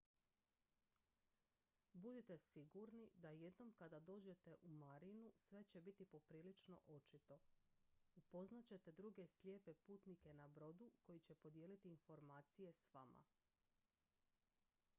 budite sigurni da jednom kada dođete u marinu sve će biti poprilično očito upoznat ćete druge slijepe putnike na brodu koji će podijeliti informacije s vama